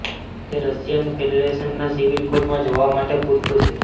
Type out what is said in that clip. તે રશિયન ફેડરેશનના સિવિલ કોડમાં જોવા માટે પૂરતું છે